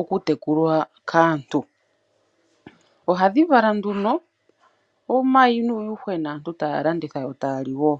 okutekulwa kaantu. Ohadhi vala nduno omayi nuuyuhwena, aantu taa landitha yo taa li wo.